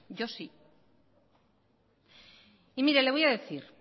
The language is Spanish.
yo sí y mire le voy a decir